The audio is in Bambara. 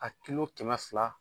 Ka kilo kɛmɛ fila